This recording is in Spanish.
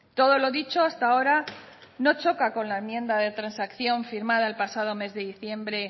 todo lo dicho hasta ahora no choca con la enmienda de transacción firmada el pasado mes de diciembre